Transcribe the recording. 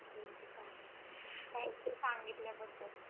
ठीक आहे चालेल thank you सांगितल्या बद्दल.